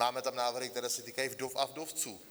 Máme tam návrhy, které se týkají vdov a vdovců.